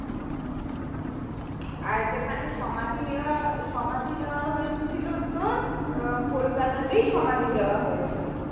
আর যেখানে সমাধি দেওয়া সমাধি দেওয়া হয়েছিল তোর কলকাতা তেই সমাধি দেয়া হয়ে ছিল